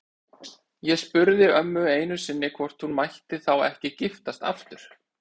Ég spurði ömmu einu sinni hvort hún mætti þá ekki giftast aftur.